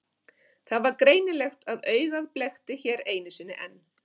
Það var greinilegt að augað blekkti hér einu sinni enn.